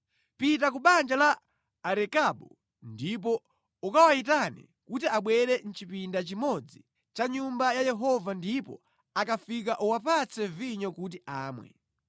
“Pita ku banja la Arekabu ndipo ukawayitane kuti abwere mʼchipinda chimodzi cha Nyumba ya Yehova ndipo akafika uwapatse vinyo kuti amwe.”